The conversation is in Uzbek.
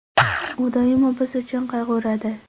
U doimo biz uchun qayg‘uradi.